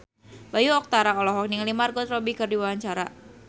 Bayu Octara olohok ningali Margot Robbie keur diwawancara